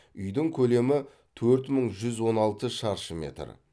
үйдің көлемі төрт мың жүз он алты шаршы метр